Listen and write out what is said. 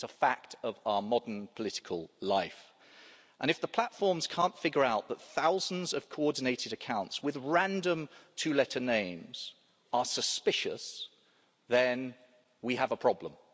It's a fact of our modern political life, and if the platforms can't figure out that thousands of coordinated accounts with random two letter names are suspicious, then we have a problem.